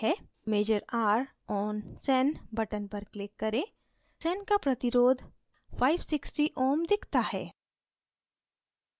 measure r on sen button पर click करें sen का प्रतिरोध resistance 560 ω दिखता है